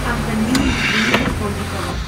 антонина евгеньевна тодикова